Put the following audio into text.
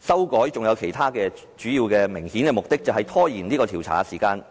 修改還有其他主要而明顯的目的，便是拖延調查時間。